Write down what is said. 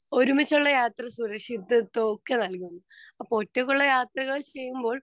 Speaker 2 ഒരുമിച്ചുള്ള യാത്രകൾ സുരക്ഷിതത്വവും ഒക്കെ നൽകുന്നു. അപ്പൊ ഒറ്റക്കുള്ള യാത്രകൾ ചെയ്യുമ്പോൾ